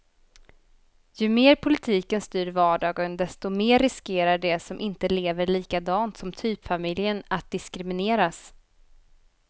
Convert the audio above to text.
Ju mer politiken styr vardagen, desto mer riskerar de som inte lever likadant som typfamiljen att diskrimineras.